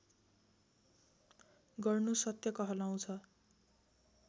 गर्नु सत्य कहलाउँछ